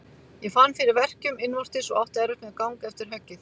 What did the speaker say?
Ég fann fyrir verkjum innvortis og átti erfitt með gang eftir höggið.